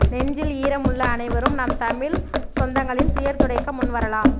நெஞ்சில் ஈரம் உள்ள அனைவரும் நம் தமிழ்ச் சொந்தங்களின் துயர் துடைக்க முன்வரலாம்